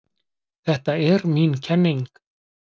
Þetta er mín kenning.